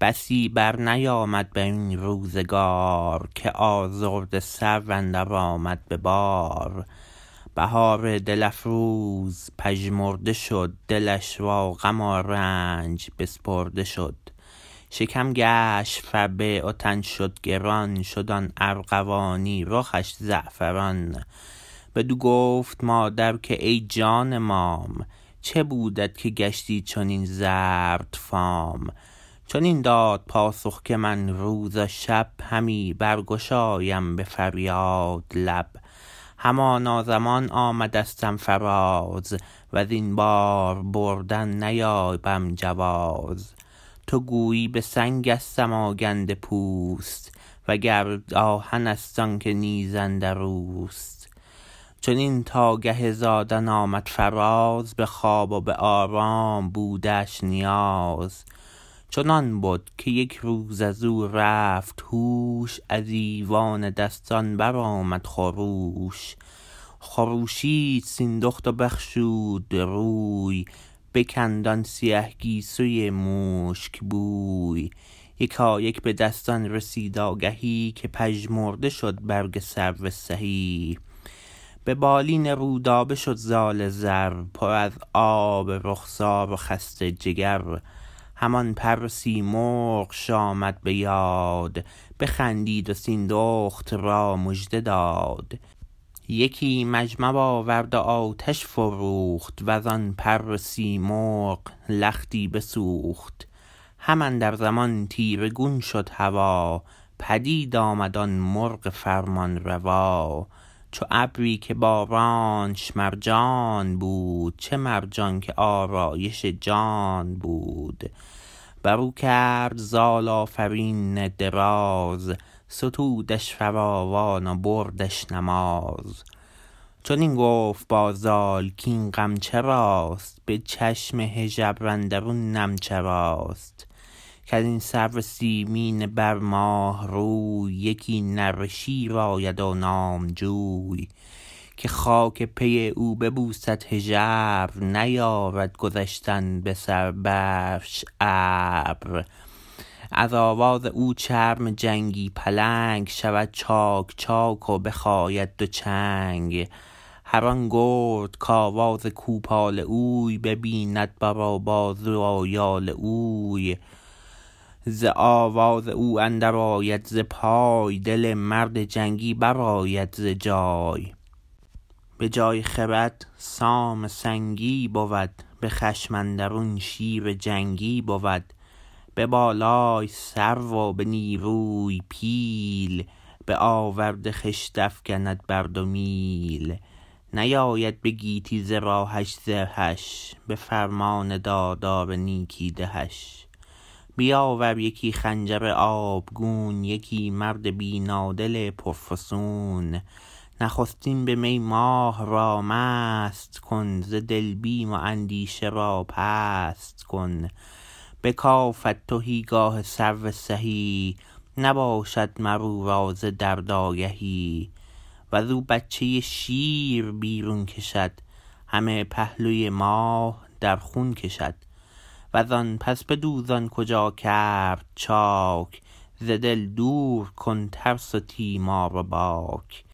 بسی برنیامد برین روزگار که آزاده سرو اندر آمد به بار بهار دل افروز پژمرده شد دلش را غم و رنج بسپرده شد شکم گشت فربه و تن شد گران شد آن ارغوانی رخش زعفران بدو گفت مادر که ای جان مام چه بودت که گشتی چنین زرد فام چنین داد پاسخ که من روز و شب همی برگشایم به فریاد لب همانا زمان آمدستم فراز وزین بار بردن نیابم جواز تو گویی به سنگستم آگنده پوست و گر آهنست آنکه نیز اندروست چنین تا گه زادن آمد فراز به خواب و به آرام بودش نیاز چنان بد که یک روز ازو رفت هوش از ایوان دستان برآمد خروش خروشید سیندخت و بشخود روی بکند آن سیه گیسوی مشک بوی یکایک بدستان رسید آگهی که پژمرده شد برگ سرو سهی به بالین رودابه شد زال زر پر از آب رخسار و خسته جگر همان پر سیمرغش آمد به یاد بخندید و سیندخت را مژده داد یکی مجمر آورد و آتش فروخت وزآن پر سیمرغ لختی بسوخت هم اندر زمان تیره گون شد هوا پدید آمد آن مرغ فرمان روا چو ابری که بارانش مرجان بود چه مرجان که آرایش جان بود برو کرد زال آفرین دراز ستودش فراوان و بردش نماز چنین گفت با زال کین غم چراست به چشم هژبر اندرون نم چراست کزین سرو سیمین بر ماه روی یکی نره شیر آید و نامجوی که خاک پی او ببوسد هژبر نیارد گذشتن به سر برش ابر از آواز او چرم جنگی پلنگ شود چاک چاک و بخاید دو چنگ هران گرد کاواز کوپال اوی ببیند بر و بازوی و یال اوی ز آواز او اندر آید ز پای دل مرد جنگی برآید ز جای به جای خرد سام سنگی بود به خشم اندرون شیر جنگی بود به بالای سرو و به نیروی پیل به آورد خشت افگند بر دو میل نیاید به گیتی ز راه زهش به فرمان دادار نیکی دهش بیاور یکی خنجر آبگون یکی مرد بینادل پرفسون نخستین به می ماه را مست کن ز دل بیم و اندیشه را پست کن بکافد تهیگاه سرو سهی نباشد مر او را ز درد آگهی وزو بچه شیر بیرون کشد همه پهلوی ماه در خون کشد وز آن پس بدوز آن کجا کرد چاک ز دل دور کن ترس و تیمار و باک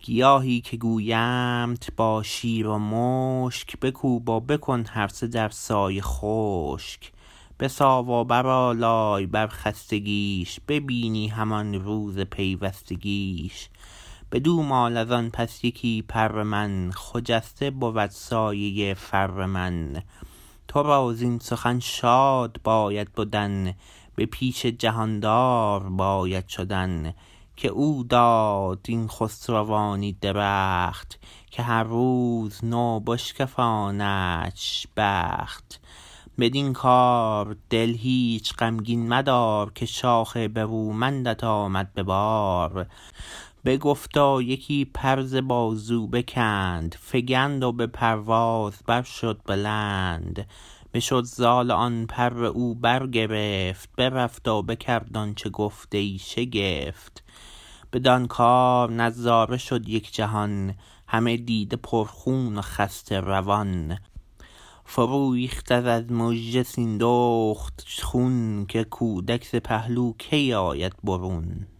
گیاهی که گویمت با شیر و مشک بکوب و بکن هر سه در سایه خشک بساو و برآلای بر خستگیش ببینی همان روز پیوستگیش بدو مال ازان پس یکی پر من خجسته بود سایه فر من ترا زین سخن شاد باید بدن به پیش جهاندار باید شدن که او دادت این خسروانی درخت که هر روز نو بشکفاندش بخت بدین کار دل هیچ غمگین مدار که شاخ برومندت آمد به بار بگفت و یکی پر ز بازو بکند فگند و به پرواز بر شد بلند بشد زال و آن پر او برگرفت برفت و بکرد آنچه گفت ای شگفت بدان کار نظاره شد یک جهان همه دیده پر خون و خسته روان فرو ریخت از مژه سیندخت خون که کودک ز پهلو کی آید برون